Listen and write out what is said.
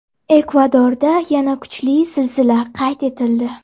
Ekvadorda yana kuchli zilzila qayd etildi.